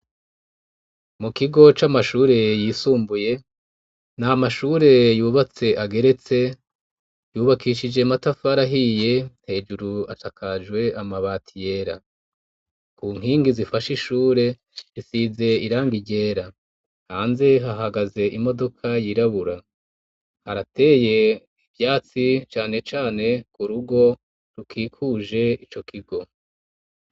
Mu kigo c'amashure yisumbuye nta mashure yubatse ageretse, yubakishije amatafari ahiye, hejuru asakajwe amabati yera. Ku nkingi zifashe ishure risize irangi ryera, hanze hahagaze imodoka yirabura, harateye ivyatsi cane cane ku rugo rukikuje ico kigo.